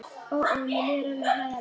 Ó, ó, mér líður alveg hræðilega.